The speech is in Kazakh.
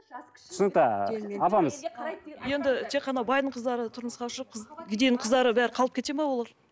түсінікті апамыз енді те қана байдың қыздары тұрмысқа шығып кедейдің қыздары бәрі қалып кетеді ме олар